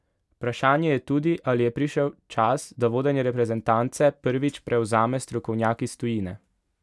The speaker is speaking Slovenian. Vprašanje je tudi, ali je prišel čas, da vodenje reprezentance prvič prevzame strokovnjak iz tujine?